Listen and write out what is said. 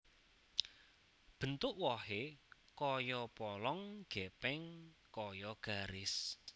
Bentuk wohé kaya polong gèpèng kaya garis